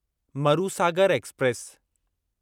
Marusagar express